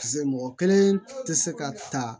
Piseke mɔgɔ kelen tɛ se ka ta